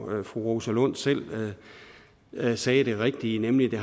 fru rosa lund selv sagde det rigtige nemlig at det